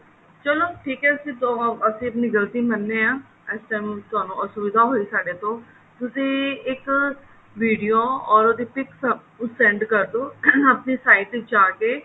ਚੱਲੋ ਠੀਕ ਹੈ ਅਸੀਂ ਅਸੀਂ ਆਪਣੀ ਗਲਤੀ ਮਨਦੇ ਹਾਂ ਇਸ time ਅਸੁਵਿਧਾ ਹੋਈ ਤੁਹਾਨੂੰ ਸਾਡੇ ਤੋਂ ਤੁਸੀਂ ਉਹਦੀ video or ਇੱਕ pic send ਕਰਦੋ ਆਪਣੀ sight ਵਿੱਚ ਜਾਕੇ